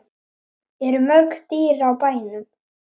Eru mörg dýr á bænum?